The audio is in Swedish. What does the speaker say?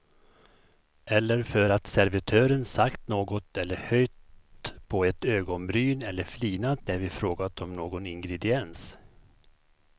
Eller för att servitören sagt något eller höjt på ett ögonbryn eller flinat när vi frågat om någon ingrediens.